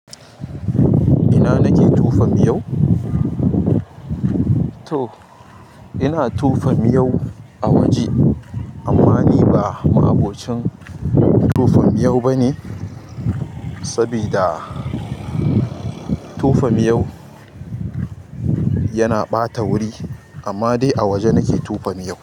Ina nake tupa miyau? To ina tupa miyau a waje amma ni ba ma'abocin tupa miyau bane saboda tupa miyau yana ɓata wuri. Amma dai a waje nake tuoa miyau.